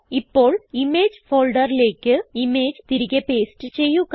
ഇപ്പോൾ ഇമേജ് ഫോൾഡറിലേക്ക് ഇമേജ് തിരികെ പേസ്റ്റ് ചെയ്യുക